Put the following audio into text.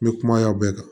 N bɛ kuma yan bɛɛ kan